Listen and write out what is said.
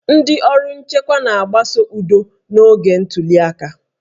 Ndị ọrụ nchekwa na-agbaso udo n'oge ntuli aka